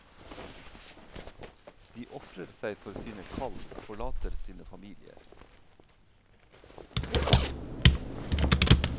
De ofrer seg for sine kall og forlate sine familier.